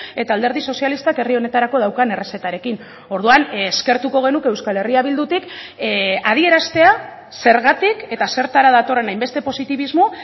eta alderdi sozialistak herri honetarako daukan errezetarekin orduan eskertuko genuke euskal herria bildutik adieraztea zergatik eta zertara datorren hainbeste positibismo